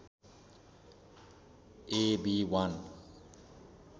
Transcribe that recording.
A B १